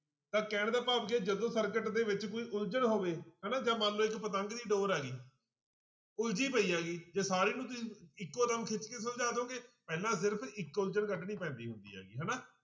ਤਾਂ ਕਹਿਣ ਦਾ ਭਾਵ ਕੀ ਹੈ ਜਦੋਂ circuit ਦੇ ਵਿੱਚ ਕੋਈ ਉਲਝਣ ਹੋਵੇ ਹਨਾ ਜਾਂ ਮੰਨ ਲਓ ਇੱਕ ਪਤੰਗ ਦੀ ਡੋਰ ਆ ਗਈ ਉਲਝੀ ਪਈ ਹੈਗੀ ਜੇ ਸਾਰੀ ਤੁਸੀਂ ਇੱਕ ਖਿੱਚ ਕੇ ਸੁਲਝਾ ਦਓਗੇ ਪਹਿਲਾਂ ਸਿਰਫ਼ ਇੱਕ ਉਲਝਣ ਕੱਢਣੀ ਪੈਂਦੀ ਹੁੰਦੀ ਹੈਗੀ ਹਨਾ